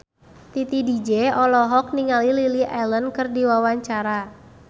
Titi DJ olohok ningali Lily Allen keur diwawancara